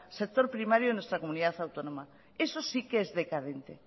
sector primario de nuestra comunidad autónoma eso sí que es decadente